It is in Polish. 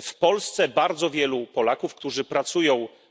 W Polsce bardzo wielu Polaków, którzy